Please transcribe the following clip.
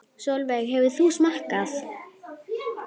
Sólveig: Hefur þú smakkað?